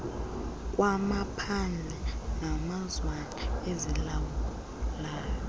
kwamaphandle namazwana azilawulayo